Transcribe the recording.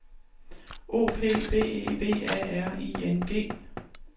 O P B E V A R I N G